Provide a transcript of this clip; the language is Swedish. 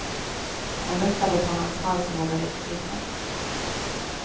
Och hon luktade på hans hals och vågade inte titta.